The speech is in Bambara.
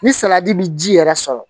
Ni salati bi ji yɛrɛ sɔrɔ